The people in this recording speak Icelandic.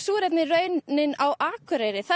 er einnig raunin á Akureyri þar